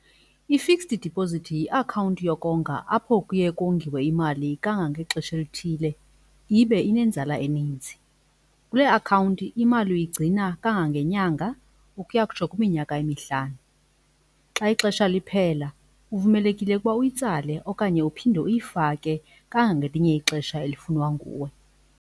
I-fixed deposit yiakhawunti yokonga apho kuye kongiwe imali kangangexesha elithile ibe inenzala eninzi. Kule akhawunti imali uyigcina kangangenyanga ukuya kutsho kwiminyaka emihlanu. xa ixesha liphela uvumelekile ukuba uyitsale okanye uphinde uyifake kangangelinye ixesha elifunwa nguwe.